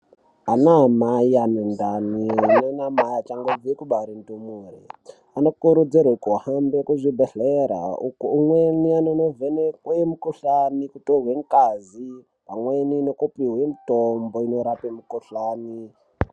Anamai anendani neanamai achangobve kubare ndumurwa anokurudzirwa kuhambe kuzvibhehlera. Uko umweni anonovhenekwe mukuhlani, kutorwe ngazi, amweni nekupuhwe mutombo inorape mikuhlani.